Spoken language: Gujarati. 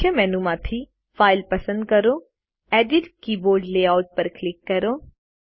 મુખ્ય મેનુ માંથી ફાઇલ પસંદ કરો અને એડિટ કીબોર્ડ લેઆઉટ પર ક્લિક કરો